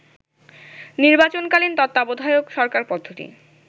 নির্বাচনকালীন তত্ত্বাবধায়ক সরকারপদ্ধতি